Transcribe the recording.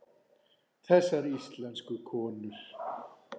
Þessar íslensku konur!